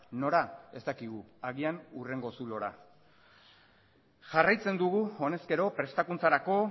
nora ez dakigu agian hurrengo zulora jarraitzen dugu honezkero prestakuntzarako